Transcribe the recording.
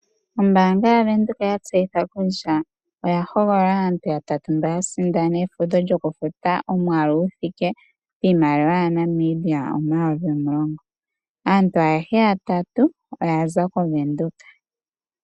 Ombaanga yaVenduka oya tseyitha aasindani yatatu mboka ya sindana iimaliwa yi thike pooN$ 10 000. Aantu ayehe yatatu oya za kOvenduka.